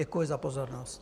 Děkuji za pozornost.